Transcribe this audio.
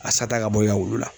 A sata ka bɔ i ka wulu la.